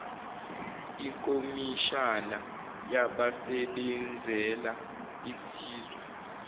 ikomishana yabasebenzela isizwe